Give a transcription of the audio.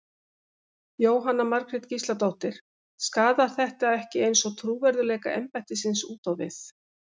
Jóhanna Margrét Gísladóttir: Skaðar þetta ekki eins og trúverðugleika embættisins út á við?